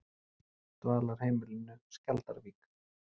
Dvalarheimilinu Skjaldarvík